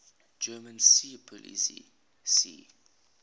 german seepolizei sea